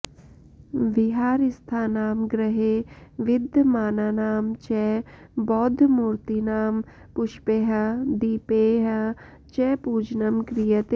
विहारस्थानां गृहे विद्यमानानां च बौद्धमूर्तीनां पुष्पैः दीपैः च पूजनं क्रियते